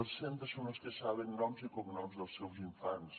els centres són els que saben noms i cognoms dels seus infants